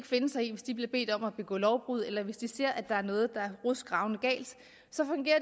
finde sig i hvis de bliver bedt om at begå lovbrud eller hvis de ser at der er noget der